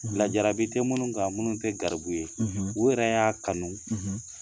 Lajabi te munnu kan munnu te garibu ye , u yɛrɛ y'a kanu